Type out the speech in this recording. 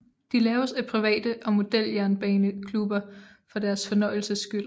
De laves af private og modeljernbaneklubber for deres fornøjelses skyld